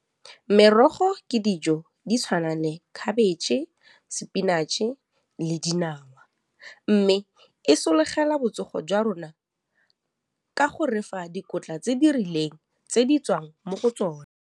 Merogo ke dijo di tshwana le khabetšhe, spinach-e le dinawa mme e sologela botsogo jwa rona ka go refa dikotla tse di rileng tse di tswang mo go tsona.